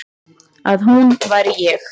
Að hún væri ég.